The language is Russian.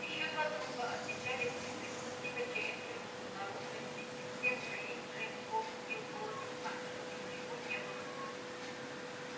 ещё два трупа отмечали путь преступника через тюрьму к наружной стене всех троих джим холл убил голыми руками чтобы ничего не было слышно